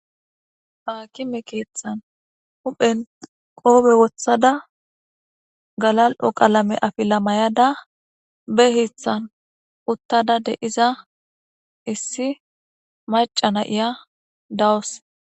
Haakime keeththan huphen qoobe wothada galal'o qalame afila mayada be hithan uttada de'iza issi macana iya dawos.